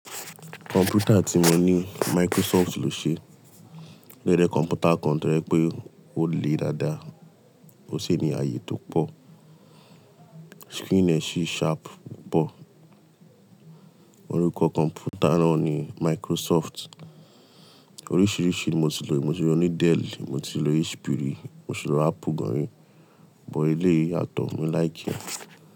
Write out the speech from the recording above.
Kọ̀m̀pútà tí mo ní Microsoft lò ṣe. Rẹ́rẹ́ kọ̀m̀pútà kan tọ́jẹ́ pé ó le dáadáa. Ó ṣé ní ààyè tó pọ̀. Screen ẹ ṣí sharp pọ̀. Orúkọ kọ̀m̀pútà náà ni Microsoft. Oríṣiríṣi mo ti lò. Mo ti lo ní Dell, mo ti ló HP ri, mo ti ló Apple gan ri, but eleyìí yatọ̀ mo like ẹ.